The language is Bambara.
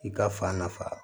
I ka fan nafa